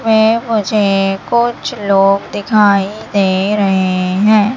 वह मुझे कुछ लोग दिखाई दे रहे हैं।